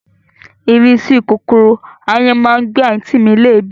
Ìrísí kòkòrò ááyán má ń gbé àǹtí mi léèébì